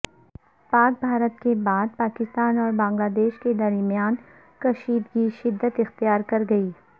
پاک بھارت کے بعد پاکستان اور بنگلہ دیش کے درمیان کشیدگی شدت اختیار کرگئی